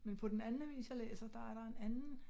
Men på den anden avis jeg læser der er der en anden